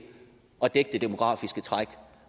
og dække det demografiske træk